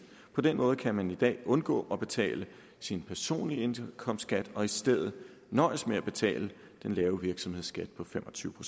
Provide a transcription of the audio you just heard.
på den måde kan man i dag undgå at betale sin personlige indkomstskat og i stedet nøjes med at betale den lave virksomhedsskat på fem og tyve